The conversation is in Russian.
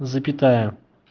запятая